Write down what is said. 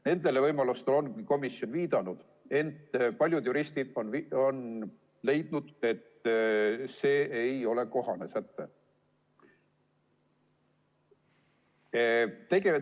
Nendele võimalustele on komisjon viidanud, ent paljud juristid on leidnud, et see ei ole kohane säte.